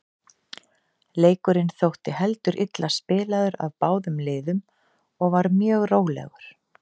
Leikurinn þótti heldur illa spilaður af báðum liðum og var mjög rólegur.